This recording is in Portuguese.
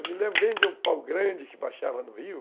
Eu me lembro bem de um pau grande que baixava no rio.